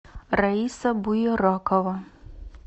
раиса буеракова